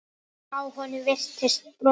Á honum virtist brotið.